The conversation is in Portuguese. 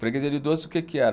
Freguesia de doce o que que era?